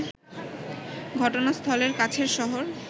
ঘটনাস্থলের কাছের শহর